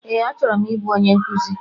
Ee, achọrọ m ị bụ onye nkuzi.